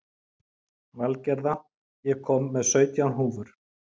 Valgerða, ég kom með sautján húfur!